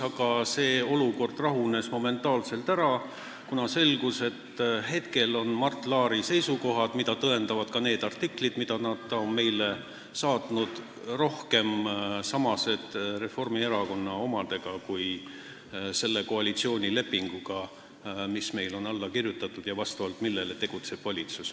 Aga olukord rahunes momentaanselt, kuna selgus, et praegu sarnanevad Mart Laari seisukohad – mida tõendavad ka need artiklid, mis ta meile saatnud on – rohkem Reformierakonna omadega kui selle koalitsioonilepinguga, mis meil on alla kirjutatud ja mille alusel tegutseb valitsus.